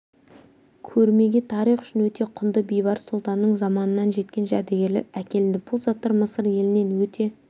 көрмеге тарих үшін өте құнды бейбарыс сұлтанның заманынан жеткен жәдігерлер әкелінді бұл заттар мысыр елінен өте